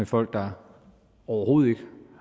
folk der overhovedet ikke